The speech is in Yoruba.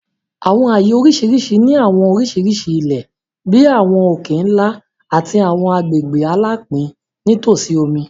Àwọn ààyè oríṣiríṣi ni àwọn oríṣiríṣi ilẹ̀, bí àwọn òkè-ńlá àti àwọn agbègbè alapin nítòsí omi.